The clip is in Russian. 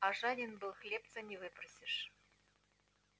а жаден был хлебца не выпросишь